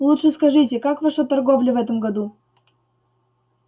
лучше скажите как ваша торговля в этом году